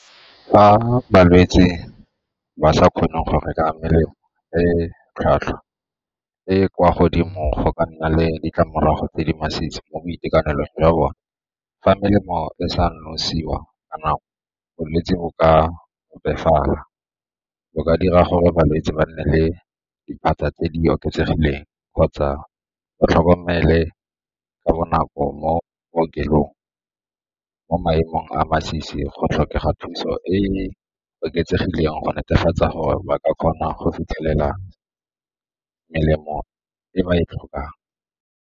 Fa balwetse ba sa kgone go reka melemo e e tlhwatlhwa e e kwa godimo go ka nna le ditlamorago tse di masisi mo boitekanelong jwa bone. Fa melemo e sa nosiwa ka nako, bolwetse bo ka opafatsa ka dira gore balwetse ba nne le diphatsa tse di oketsegileng kgotsa o tlhokomele ka bonako mo bookelong mo maemong a masisi go tlhokega thuso e e oketsegileng go netefatsa gore ba ka kgona go fitlhelela melemo e ba e tlhokang.